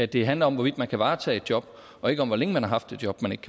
det handler om hvorvidt man kan varetage et job og ikke om hvor længe man har haft et job man ikke